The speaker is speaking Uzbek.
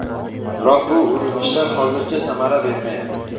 Biroq bu urinishlar hozircha samara bermayapti.